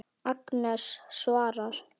Agnes svarar.